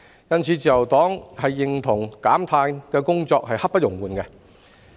因此，自由黨認同減碳工作刻不容緩。